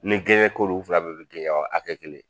Ni gɛɲɛ ko don, u fila bɛɛ bɛ ye kɛ hakɛ kelen ye.